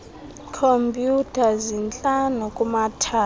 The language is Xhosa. khompyutha zintlanu kumathala